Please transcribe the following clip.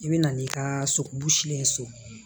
I bɛ na n'i ka solen ye so